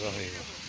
Eyvah, eyvah!